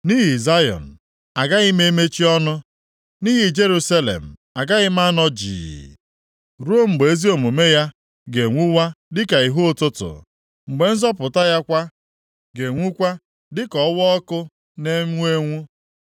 Nʼihi Zayọn agaghị m emechi ọnụ, nʼihi Jerusalem agaghị m anọ jii, ruo mgbe ezi omume ya ga-enwuwa dịka ihe ụtụtụ; mgbe nzọpụta ya kwa ga-enwukwa dịka ọwaọkụ na-enwu enwu.